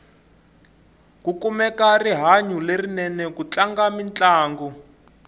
ku kumeka rihanyu lerinene ku tlanga mintlangu